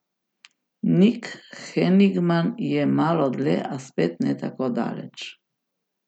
Nik Henigman je malo dlje, a spet ne tako daleč.